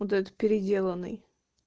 вот этот переделанный